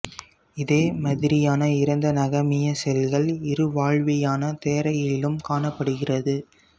இதே மதிரியான இறந்த நகமிய செல்கள் இருவாழ்வியான தேரையிலும் காணப்படுகிறது